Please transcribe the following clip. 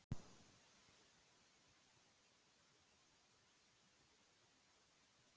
Kristín, er þetta starfsfólk ekkert orðið þreytt á þessum árlegu kosningum?